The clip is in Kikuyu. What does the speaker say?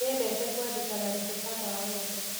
Nĩendete kwandĩka marebeta ma wendo